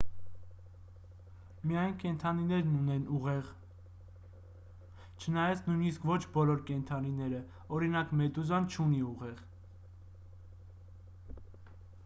միայն կենդանիներն ունեն ուղեղ չնայած նույնիսկ ոչ բոլոր կենդանիները օրինակ` մեդուզան չունի ուղեղ: